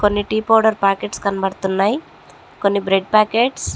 కొన్ని tea powder packets కనబడుతున్నాయ్. కొన్ని బ్రెడ్ పాకెట్స్ --